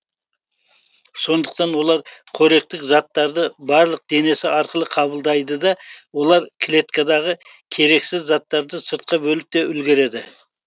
сондықтан олар қоректік заттарды барлық денесі арқылы қабылдайды да олар клеткадағы керексіз заттарды сыртқа бөліп те үлгереді